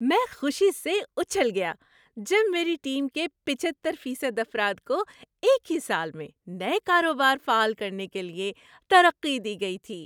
‏میں خوشی سے اُچھل گیا جب میری ٹیم کے پچہتر فیصد افراد کو ایک ہی سال میں نئے کاروبار فعال کرنے کے لیے ترقی دی گئی تھی۔